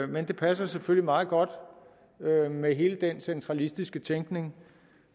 men det passer selvfølgelig meget godt med hele den centralistiske tænkning